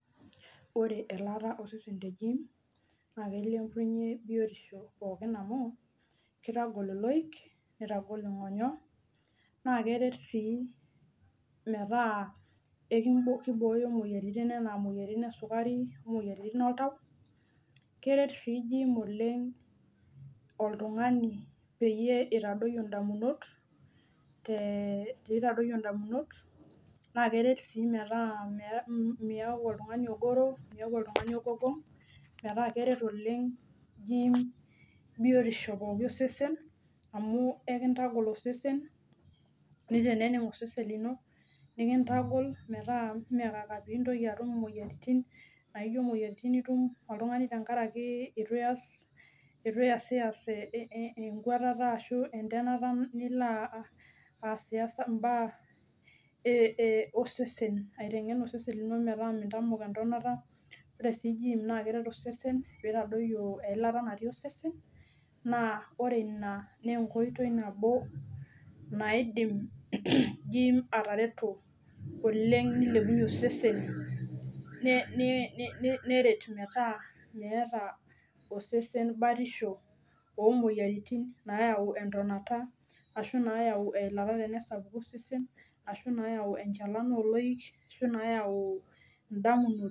Ore elaata osesen le jiim naa keilepunyie biotisho amu keitagol iloik neitagol ing'onyo naa keret sii metaa keibooyo imoyiaritin enaa imoyiaritin esukari enaa imoyiaritin oltau keret sii jiiim oleng oltung'ani peyie eitadoyio indamunot naa keret sii metaaa kiaku oltung'ani ogoro miaku oltung'ani ogogong metaa keret oleng jiim biotisho pookin osesen amu ekintagol osesen neiteneneng osesen lino nikintagol metaa meekaka peintoki atum imoyiaritin ijio imoyiaritin itum oltung'ani tenkaraki eitu iyasiyas enkwatata ashuu entemata nilo. aasiyas imbaa osene aiteng'en osesen metaa mintamok entonata ore sii jiim peitadoyio eilata natii osese naa ore ina naa enkoitoi nabo naidim jiim atareto oleng neilepunyie osesen neret metaa meeta osesen batisho oomoyiaritin naayau entonata ashuu naayai enchalan oloik ashuu naayau indamunot.